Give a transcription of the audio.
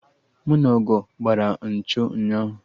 Mụ na Ogo gbara nchọ ụnyaahụ